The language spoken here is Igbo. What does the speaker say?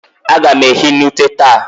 A gam ehi n'ute taa.